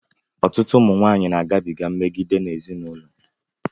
Ọtụtụ ụmụ nwanyị na-agabiga mmegide n'ezinụlọ.